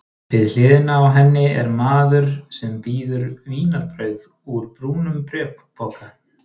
Við hliðina á henni er maður sem býður vínarbrauð úr brúnum bréfpoka.